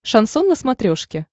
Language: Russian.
шансон на смотрешке